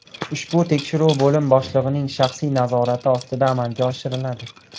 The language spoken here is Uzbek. Ushbu tekshiruv bo‘lim boshlig‘ining shaxsiy nazorati ostida amalga oshiriladi.